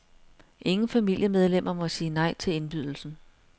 Ingen familiemedlemmer må sige nej til indbydelsen.